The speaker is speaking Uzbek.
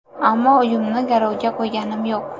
Ammo uyimni garovga qo‘yganim yo‘q.